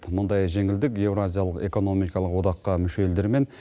мұндай жеңілдік евразиялық экономикалық одаққа мүше елдер мен